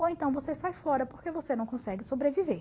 Ou então você sai fora porque você não consegue sobreviver.